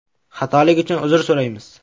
Xatolik uchun uzr so‘raymiz.